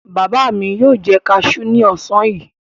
Bàbá mi yóò jẹ kaṣú ní ọ̀sán yìí.